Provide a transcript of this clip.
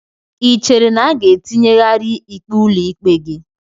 Ị chere na a ga-etinyegharị ikpe ụlọikpe gị?